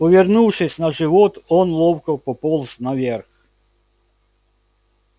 повернувшись на живот он ловко пополз наверх